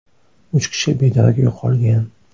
Uch kishi bedarak yo‘qolgan.